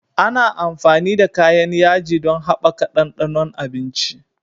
Ana amfani da kayan yaji don haɓaka ɗanɗanon abinci.